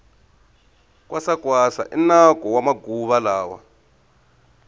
kwasa kwasa i nako wa maguva lawa